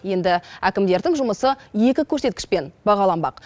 енді әкімдердің жұмысы екі көрсеткішпен бағаланбақ